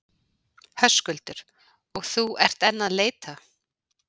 Höskuldur: Og þú ert enn að leita?